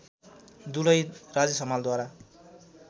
दुलही राजेश हमालद्वारा